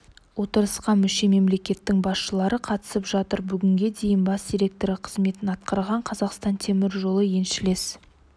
отырысқа мүше мемлекеттің басшылары қатысып жатыр бүгінге дейін бас директоры қызметін атқарған қазақстан темір жолы еншілес